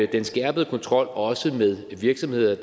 den skærpede kontrol også med virksomheder